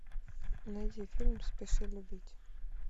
найди фильм спеши любить